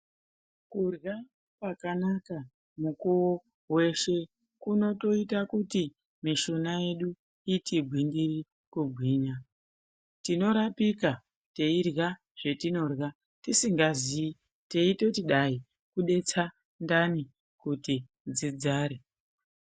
Kurya kwakanaka mukuwo weshe kunotoita kuti mishuna yedu iti gwindiri kugwinya. Tinorapika teirya zvetinorya tisingazii, teitoti dai kudetsa ndani kuti dzidzare.